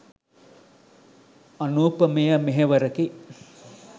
අනූපමේය මෙහෙවරකි.